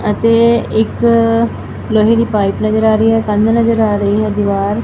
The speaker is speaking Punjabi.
ਅਤੇ ਇੱਕ ਲੋਹੇ ਦੀ ਪਾਈਪ ਨਜ਼ਰ ਆ ਰਹੀ ਹੈ ਕੰਧ ਨਜ਼ਰ ਆ ਰਹੀ ਹੈ ਦੀਵਾਰ --